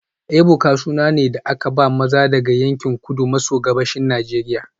Ebuka suna ne da aka ba maza daga yankin Kudu maso Gabashin Najeriya